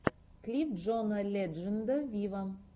клип джона ледженда виво